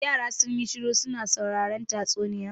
Yara sun yi shiru su na sauraren tatsuniya.